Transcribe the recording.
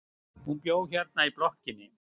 Hún bjó hérna í blokkinni.